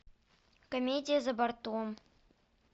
комедия за бортом